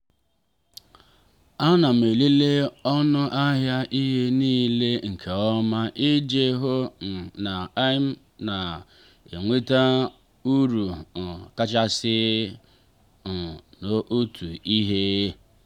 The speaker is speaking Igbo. ana m elele ọnụ ahịa ihe nile nke ọma iji hụ um na i’m na-enweta uru um kachasị um n'otu ihe.